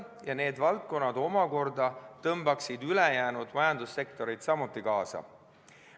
Ja need valdkonnad omakorda tõmbaksid ülejäänud majandussektoreid kaasa.